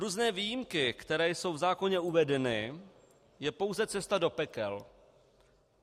Různé výjimky, které jsou v zákoně uvedeny, je pouze cesta do pekel.